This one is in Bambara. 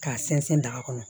K'a sɛnsɛn daga kɔnɔ